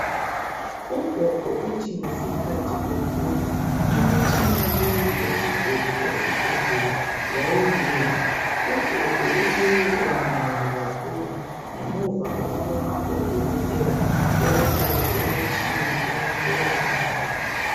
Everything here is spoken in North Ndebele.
Ugogo uthi ngesikhathi bekhula imitshina le esigcwele esibhedlela yayingekho ugogo ubuye emangele ngemva kokubana odokotela bemufake emtshineni bemhlola amaphaphu.